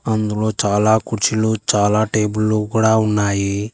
అందులో చాలా కుర్చీలు చాలా టేబుల్లో కూడా ఉన్నాయి.